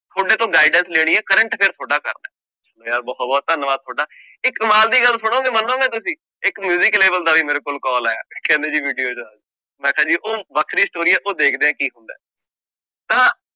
ਤੁਹਾਡੇ ਤੋਂ guidance ਲੈਣੀ ਹੈ current affair ਤੁਹਾਡਾ ਕਰਨਾ ਹੈ, ਯਾਰ ਬਹੁਤ ਬਹੁਤ ਧੰਨਵਾਦ ਤੁਹਾਡਾ ਇੱਕ ਕਮਾਲ ਦੀ ਗੱਲ ਸੁਣੋਗੇ ਮੰਨੋਗੇ ਤੁਸੀਂ, ਇੱਕ music level ਦਾ ਵੀ ਮੇਰੇ ਕੋਲ call ਆਇਆ ਕਹਿੰਦੇ ਜੀ ਮੈਂ ਕਿਹਾ ਜੀ ਉਹ ਵੱਖਰੀ story ਹੈ ਉਹ ਦੇਖਦੇ ਹਾਂ ਕੀ ਹੁੰਦਾ ਤਾਂ